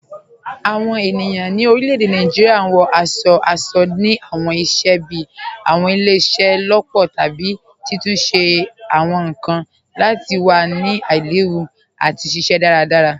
Awọn ènìyàn ni orílẹ̀-èdè Nàìjíríà wọ̀ aṣọ̀-aṣọ̀ ni awọn ìṣẹ̀ bíí awọn ìlẹ̀-ìṣẹ̀-lọpọ̀ tàbí títúnṣẹ̀ awọn nkan lati wà ni aìlèwú àti ṣiṣẹ̀ daradara.